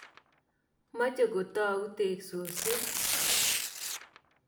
Mache kotou teksosyek.